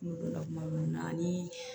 N donna kuma min na anii